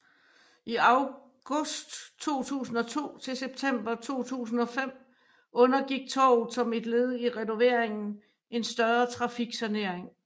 I august 2002 til september 2005 undergik torvet som et led i renoveringen en større trafiksanering